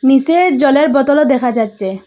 নীচে জলের বোতলও দেখা যাচ্চে।